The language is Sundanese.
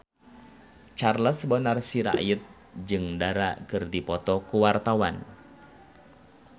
Charles Bonar Sirait jeung Dara keur dipoto ku wartawan